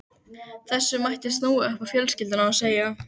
Þessu mætti snúa upp á fjölskylduna og segja